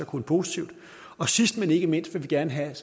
kun positivt og sidst men ikke mindst vil vi gerne have